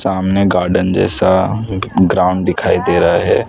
सामने गार्डन जैसा एक ग्राउंड दिखाई दे रहा है।